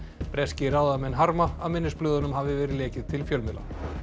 breskir ráðamenn harma að minnisblöðunum hafi verið lekið til fjölmiðla